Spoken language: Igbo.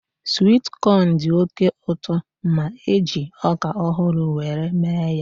Swit kọn dị oké ụtọ ma eji ọka ọhụrụ were mee ya